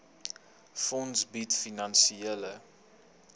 fonds bied finansiële